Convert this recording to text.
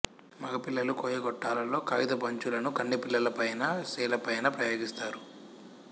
మగపిల్లలు కొయ్య గొట్టాలలో కాగితపు అంచులను కన్నెపిల్లల పైనా స్త్రీల పైనా ప్రయోగిస్తారు